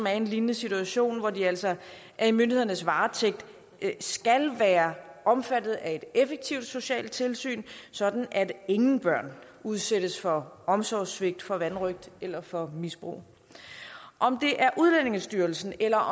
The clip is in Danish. er i en lignende situation hvor de altså er i myndighedernes varetægt skal være omfattet af et effektivt socialt tilsyn sådan at ingen børn udsættes for omsorgssvigt for vanrøgt eller for misbrug om det er udlændingestyrelsen eller